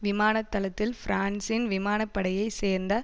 விமானத்தளத்தில் பிரான்சின் விமானப்படையை சேர்ந்த